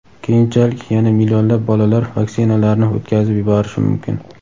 keyinchalik yana millionlab bolalar vaksinalarni o‘tkazib yuborishi mumkin.